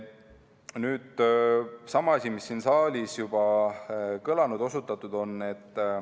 Nüüd sama asi, mis siin saalis juba kõlanud on ja millele osutatud on.